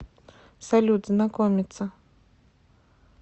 салют знакомица